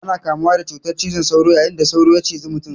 Ana kamuwa da cutan cizon sauro yayin da sauro ya ciji mutum.